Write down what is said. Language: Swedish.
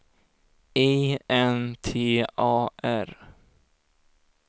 I N T A R